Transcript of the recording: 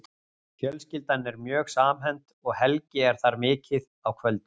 Fjölskyldan er mjög samhent og Helgi er þar mikið á kvöldin.